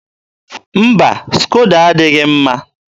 mba, skodo adịghị mma.